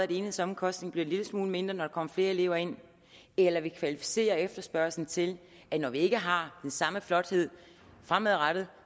enhedsomkostningen en lille smule mindre når der flere elever ind eller vi kvalificerer efterspørgslen til at når vi ikke har den samme flothed fremadrettet